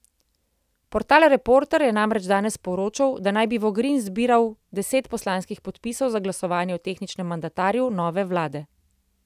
Portal Reporter je namreč danes poročal, da naj bi Vogrin zbiral deset poslanskih podpisov za glasovanje o tehničnem mandatarju nove vlade.